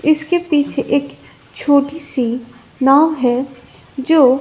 इसके पीछे एक छोटी सी नाव है जो--